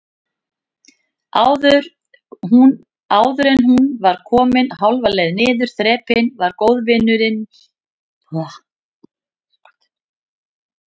Áðuren hún var komin hálfa leið niður þrepin var góðvinur minn Erik